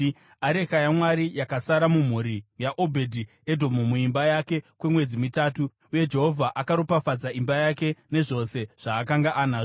Areka yaMwari yakasara mumhuri yaObhedhi-Edhomu muimba yake kwemwedzi mitatu, uye Jehovha akaropafadza imba yake nezvose zvaakanga anazvo.